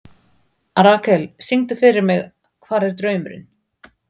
Rakel, syngdu fyrir mig „Hvar er draumurinn“.